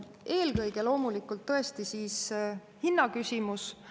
Eelkõige loomulikult tõesti hinna küsimus.